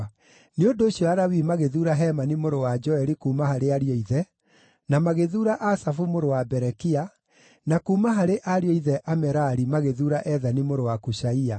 Nĩ ũndũ ũcio Alawii magĩthuura Hemani mũrũ wa Joeli; kuuma harĩ ariũ a ithe, na magĩthuura Asafu mũrũ wa Berekia; na kuuma harĩ ariũ a ithe Amerari magĩthuura Ethani mũrũ wa Kushaia;